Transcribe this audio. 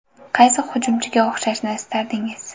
Qaysi hujumchiga o‘xshashni istardingiz?